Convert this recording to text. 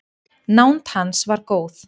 Nánd hans var góð.